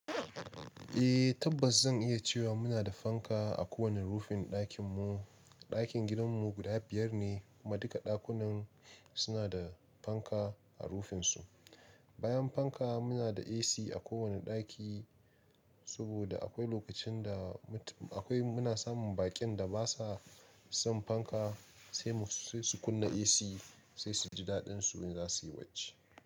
Eh, tabbas zan iya cewa muna da fanka a kowane rufin ɗakinmu. Ɗakin gidanmu guda biyar ne kuma duka ɗakunan suna da fanka a rufinsu. Bayan fanka muna da AC a kowane ɗaki saboda akwai lokacin da muna samun baƙin da basa son fanka sai su kunna AC sai su ji daɗin su in za suyi barci.